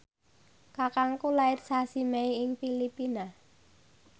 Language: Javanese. kakangku lair sasi Mei ing Filipina